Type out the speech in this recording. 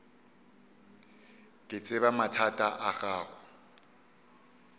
ke tseba mathata a gago